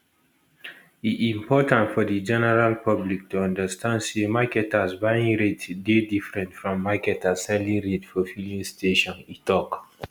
e important for di general public to understand say marketers buying rate dey different from marketers selling rate for filling stations e tok